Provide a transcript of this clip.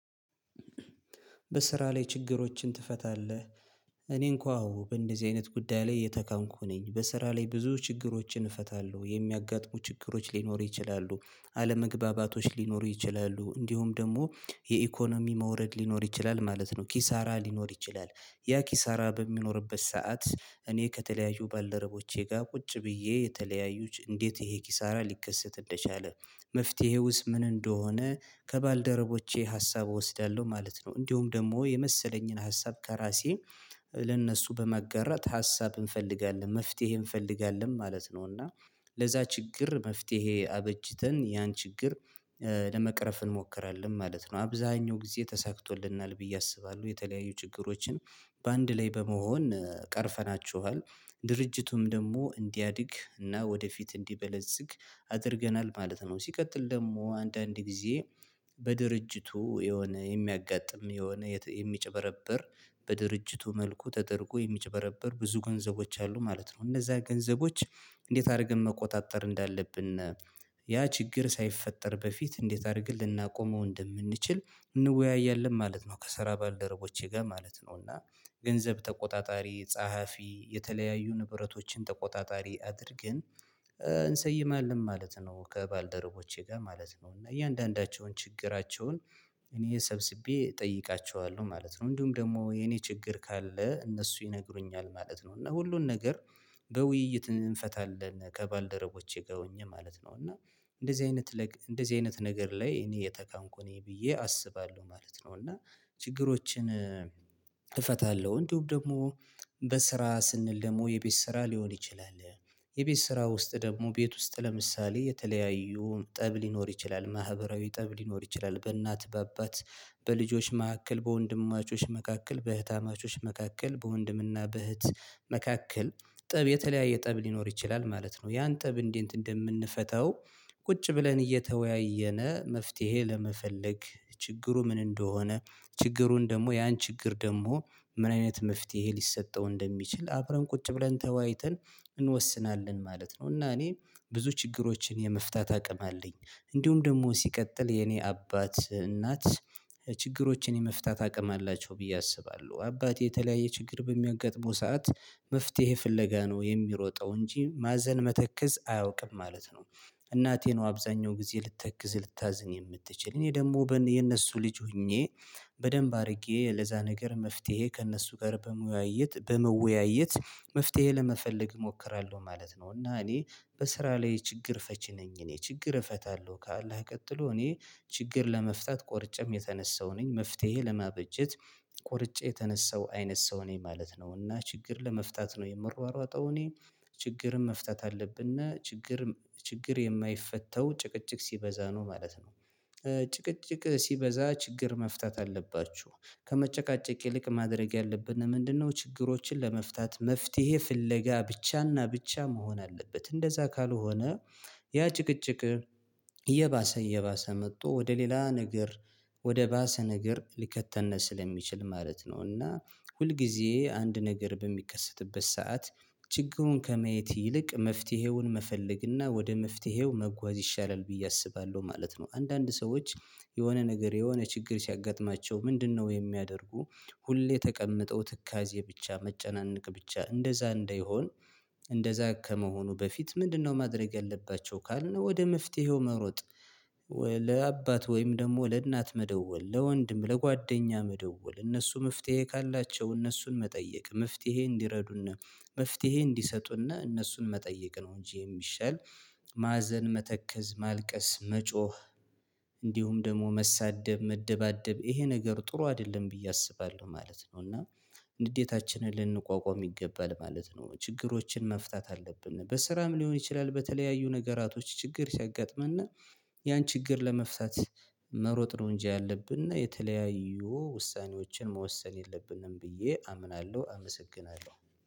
በስራ ላይ ችግሮችን ትፈታለህ? እኔን እንኳን አዎ በእንደዚህ አይነት ጉዳይ ላይ የተካንኩ ነኝ በስራ ላይ ብዙ ችግሮችን እፈታለሁ የሚያጋጥሙ ችግሮች ሊኖሩ ይችላሉ። አለመግባባቶች ሊኖሩ ይችላሉ እንዲሁም ደግሞ የኢኮኖሚ መውረድ ሊኖር ይችላል ማለት ነው ኪሳራ ሊኖር ይችላል። ያ ኪሳራ በሚኖርበት ሰዓት እኔ ከተለያዩ ባለረቦቼ ጋር ቁጭ ብዬ የተለያዩት እንዴት ይሄ ኪሳራ ሊከሰት እንደቻለ? መፍትሄውስ ምን እንደሆነ ከባልደረቦቼ ሀሳብ እወስዳለሁ ማለት ነው። እንዲሁም ደግሞ የመሰለኝን ሀሳብ ከራሴ ለእነሱ በማጋራት ሀሳብ እንፈልጋለን መፍትሄ እንፈልጋለን ማለት ነው። እና ለዛ ችግር መፍትሄ አበጅተን ያን ችግር ለመቅረፍ እንሞክራለን ማለት ነው። አብዛኛው ጊዜ ተሳክቶልናል ብዬ አስባለሁ የተለያዩ ችግሮችን በአንድ ላይ በመሆን ቀርፈናችኋል ድርጅቱም ደግሞ እንዲያድግ እና ወደፊት እንዲበለጽግ አድርገናል ማለት ነው። ሲቀጥል ደግሞ አንዳንድ ጊዜ በድርጅቱ የሆነ የሚያጋጥም የሆነ የሚጨበረብር በድርጅቱ መልኩ ተደርጎ የሚጨበረብር ብዙ ገንዘቦች አሉ ማለት ነው። እነዛ ገንዘቦች እንዴት አድርገን መቆጣጠር እንዳለብን ያ ችግር ሳይፈጠር በፊት እንዴት አድርግ ልናቆመው እንደምንችል እንወያያለን ማለት ነው። ከሰራ ባልደረቦቼ ጋር ማለት ነው እና ገንዘብ ተቆጣጣሪ ጸሐፊ የተለያዩ ንብረቶችን ተቆጣጣሪ አድርገን እንሰይማለን ማለት ነው። ከባልደረቦቼ ጋር ማለት ነው እና እያንዳንዳቸውን ችግራቸውን እኔ ሰብስቤ እጠይቃቸዋለሁ ማለት ነው። እንዲሁም ደግሞ የኔ ችግር ካለ እነሱ ይነግሩኛል ማለት ነው። እና ሁሉን ነገር በውይይት እንፈታለን ከባልደረቦቼ ጋር ሆኜ ማለት ነው። እና እንደዚህ አይነት እንደዚህ አይነት ነገር ላይ እኔ የተካንኩኝ ብዬ አስባለሁ ማለት ነው። እና ችግሮችን እፈታለሁ። እንዲሁም ደግሞ በስራ ስንል ደግሞ የቤት ስራ ሊሆን ይችላል የቤት ስራ ውስጥ ደግሞ ቤት ውስጥ ለምሳሌ የተለያዩ ጠብ ሊኖር ይችላል። ማህበራዊ ጠብ ሊኖር ይችላል በእናት በአባት በልጆች መካከል በወንድማቾች መካከል በእህት አማቾች መካከል በወንድምና በእህት መካከል ጥብ የተለያየ ጥብ ሊኖር ይችላል ማለት ነው። ያን ጥብ እንዴት እንደምንፈታው? ቁጭ ብለን እየተወያየነ መፍትሄ ለመፈለግ ችግሩ ምን እንደሆነ? ችግሩን ደግሞ ያን ችግር ደግሞ ምን አይነት መፍትሄ ሊሰጠው እንደሚችል አብረን ቁጭ ብለን ተዋይተን እንወስናለን ማለት ነው። እና እኔ ብዙ ችግሮችን የመፍታት አቅም አለኝ። እንዲሁም ደግሞ ሲቀጥል የኔ አባት እናት ችግሮችን የመፍታት አቅም አላቸው ብዬ አስባለሁ አባቴ የተለያየ ችግር በሚያጋጥመው ሰዓት መፍትሄ ፍለጋ ነው የሚሮጠው እንጂ ማዘን መተክዝ አያውቅም ማለት ነው። እናቴ ነው አብዛኛው ጊዜ ልትተክዝ ልታዝን የምትችል እኔ ደግሞ የነሱ ልጅ ሆኜ በደንብ አድርጌ ለዛ ነገር መፍትሄ ከእነሱ ጋር በመወያየት በመወያየት መፍትሄ ለመፈለግ እሞክራለሁ ማለት ነው። እና እኔ በስራ ላይ ችግር ፈቺ ነኝ። እኔ ችግር እፈታለሁ ካለ ቀጥሎ እኔ ችግር ለመፍታት ቆርጨም የተነሳው ነኝ። መፍትሄ ለማበጀት ቆርጬ የተነሳው አይነት ሰው ነኝ ማለት ነው። እና ችግር ለመፍታት ነው የምሯሯጠው እኔ ችግርም መፍታት አለብንና ችግር ችግር የማይፈታው ጭቅጭቅ ሲበዛ ነው ማለት ነው። ጭቅጭቅ ሲበዛ ችግር መፍታት አለባችሁ። ከመጨቃጨቅ ይልቅ ማድረግ ያለብን ምንድነው ችግሮችን ለመፍታት መፍትሄ ፍለጋ ብቻና ብቻ መሆን አለበት። እንደዛ ካልሆነ ያ ጭቅጭቅ እየባሰ እየባሰ መጥቶ ወደ ሌላ ነገር ወደ ባሰ ነገር ሊከተን ስለሚችል ማለት ነው። እና ሁልጊዜ አንድ ነገር በሚከሰትበት ሰዓት ችግሩን ከመየት ይልቅ መፍትሄውን መፈለግ እና ወደ መፍትሄው መጓዝ ይሻላል ብዬ አስባለሁ ማለት ነው። አንዳንድ ሰዎች የሆነ ነገር የሆነ ችግር ሲያጋጥማቸው ምንድነው የሚያደርጉ? ሁሌ ተቀምጠው ትካዜ ብቻ መጨናነቅ ብቻ እንደዛ እንደይሆን እንደዛ ከመሆኑ በፊት ምንድነው ማድረግ ያለባቸው ካልን ወደ መፍትሄው መሮጥ። ለአባት ወይም ደግሞ ለእናት መደወል ለወንድም ለጓደኛ መደወል እነሱ መፍትሄ ካላቸው እነሱን መጠየቅ መፍትሄ እንዲረዱና መፍትሄ እንዲሰጡና እነሱን መጠየቅ ነው። እንጂ የሚሻል ማዘን መተከዝ ማልቀስ መጮህ እንዲሁም ደግሞ መሳደብ መደባደብ ይሄ ነገር ጥሩ አይደለም ብዬ አስባለሁ ማለት ነው። እና ንዴታችንን ልንቋቋም ይገባል ማለት ነው። ችግሮችን መፍታት አለብን በስራም ሊሆን ይችላል። በተለያዩ ነገራቶች ችግር ሲያጋጥመን ያን ችግር ለመፍታት መሮጥ ነው እንጂ ያለብን እና የተለያዩ ውሳኔዎችን መወሰን የለብንም ብዬ አምናለሁ። አመሰግናለሁ